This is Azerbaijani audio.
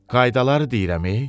Qaydadı deyirəm.